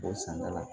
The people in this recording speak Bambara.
B'o sɛnɛ la